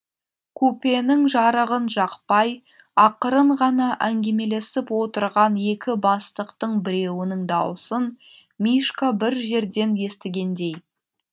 купенің жарығын жақпай ақырын ғана әңгемелесіп отырған екі бастықтың біреуінің даусын мишка бір жерден естігендей